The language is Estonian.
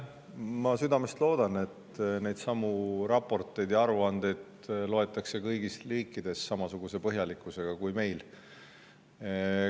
Ma südamest loodan, et neidsamu raporteid ja aruandeid loetakse kõikides riikides samasuguse põhjalikkusega kui meil.